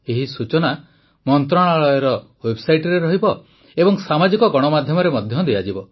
ଏହି ସୂଚନା ମନ୍ତ୍ରଣାଳୟର ୱେବସାଇଟରେ ରହିବ ଏବଂ ସାମାଜିକ ଗଣମାଧ୍ୟମରେ ମଧ୍ୟ ଦିଆଯିବ